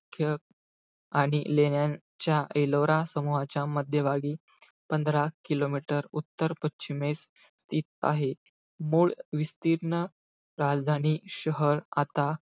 कि आणि लेण्यांच्या एलोरा समूहाच्या मध्यभागी, पंधरा kilometer उत्तर-पश्चिमेस आहे. मूळ विस्तीर्ण राजधानी शहर आता,